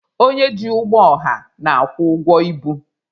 Onye ji ụgbọ ọha na-akwụ ụgwọ ibu.